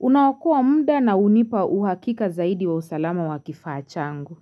unaokoa muda na hunipa uhakika zaidi wa usalama wa kifaa changu.